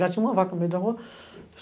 Já tinha uma vaca no meio da rua.